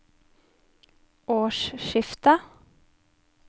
årsskiftet